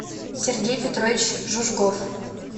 сергей петрович жужгов